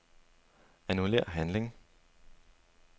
Annullér handling.